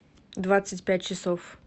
двадцать пять часов